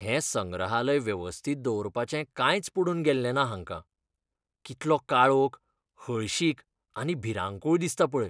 हें संग्रहालय वेवस्थीत दवरपाचें कांयच पडून गेललें ना हांकां.कितलो काळोख, हळशीक आनी भिरांकूळ दिसता पळय.